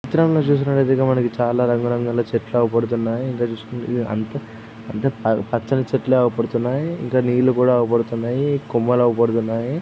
ఈ చిత్రంలో చూసినట్టయితె మనకి చాలా రంగురంగుల చెట్లు అవుపడుతున్నాయి ఇంకా చూసుకుంటే అంతా అంటే పచ్చని చెట్లు ఆవు పడుతున్నాయి ఇంకా నీళ్లు కూడా నట్టుపడుతున్నది కొమ్మలు ఆవుపడుతున్నాయి.